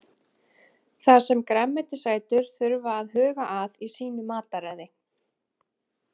Það sem grænmetisætur þurfa að huga að í sínu mataræði.